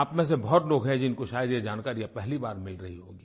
आप में से बहुत लोग हैं जिनको शायद ये जानकारी पहली बार मिल रही होगी